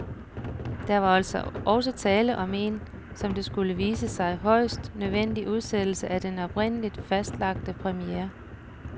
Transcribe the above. Der var altså tale om en, som det skulle vise sig, højst nødvendig udsættelse af den oprindeligt fastlagte premiere.